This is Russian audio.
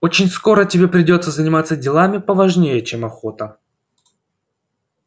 очень скоро тебе придётся заниматься делами поважнее чем охота